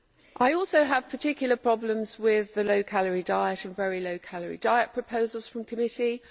I also have particular problems with the low calorie diet and very low calorie diet proposals from committee.